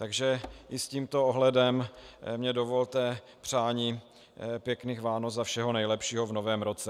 Takže i s tímto ohledem mi dovolte přání pěkných Vánoc a všeho nejlepšího v novém roce.